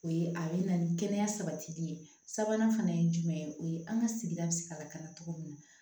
O ye a bɛ na ni kɛnɛya sabatili ye sabanan fana ye jumɛn ye o ye an ka sigida bɛ se ka lakana cogo min na